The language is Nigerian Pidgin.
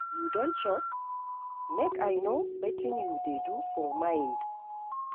You don chop? Make I know wetin you dey do for mind.